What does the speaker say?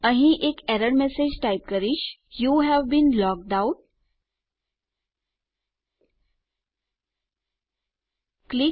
અહીં હું એક એરર મેસેજ ટાઈપ કરી શકું છું યુવે બીન લોગ્ડ આઉટ